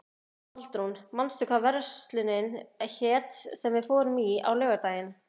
Baldrún, manstu hvað verslunin hét sem við fórum í á laugardaginn?